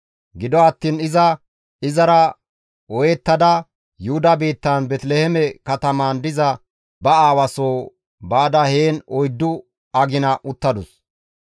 Gido attiin iza izara ooyettada Yuhuda biittan Beeteliheeme katamaan diza ba aawa soo baada heen oyddu agina uttadus.